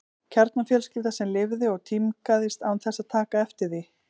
Kjarnafjölskylda sem lifði og tímgaðist án þess að taka eftir því.